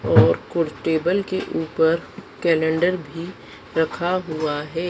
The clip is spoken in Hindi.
और कुछ टेबल के ऊपर कैलेंडर भी रखा हुआ है।